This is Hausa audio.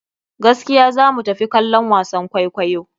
Gaskiya za mu tafi kallon wasan kwaikwayo.